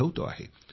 आठवतो आहे